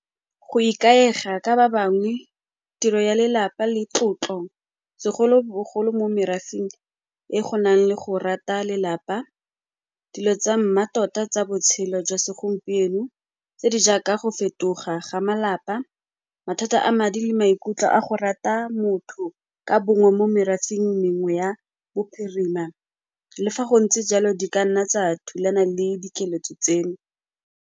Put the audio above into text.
Go ikaega ka ba bangwe, tiro ya lelapa le tlotlo, segolobogolo mo merafeng e go nang le go rata lelapa, dilo tsa mmatota tsa botshelo jwa segompieno tse di jaaka go fetoga ga malapa, mathata a madi le maikutlo a go rata motho ka bongwe mo merafeng mengwe ya bophirima, le fa go ntse jalo di ka nna tsa thulana le dikeletso tseno.